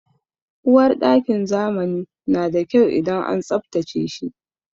Uwarɗakin zamani na da kyau idan an tsabtace shi.